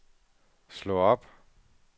slå op